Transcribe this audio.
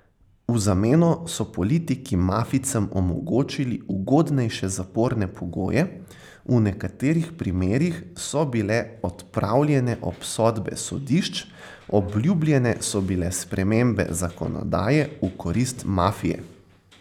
V zameno so politiki mafijcem omogočili ugodnejše zaporne pogoje, v nekaterih primerih so bile odpravljene obsodbe sodišč, obljubljene so bile spremembe zakonodaje v korist mafije.